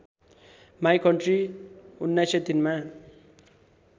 my country १९०३ मा